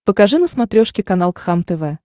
покажи на смотрешке канал кхлм тв